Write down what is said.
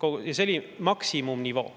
See oli maksimumnivoo.